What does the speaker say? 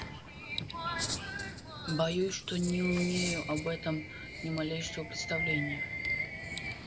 боюсь что не умею об этом ни малейшего представления